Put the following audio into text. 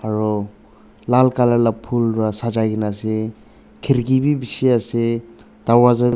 aro lal colour la phul pa sajai kaene ase khirki bi bishi ase darwaza.